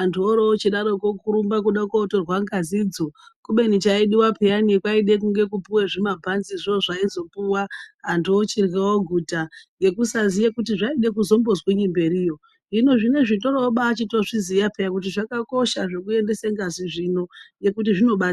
andu ochidaro kurumba kunotorwa ngazi iroo kubeni chaidiwa peyani kwaide kunge kupiwa zvimabhanzi zvoo zvaizopuwa andu ochidya oguta nekusaziya kuti zvaide kuzombodiniwo mberi iyi hino zvinezvi vandu ochitombaitozviziva peyani kuti zvakakosha zvekuendese ngazi zvino nekuti zvinobatsira.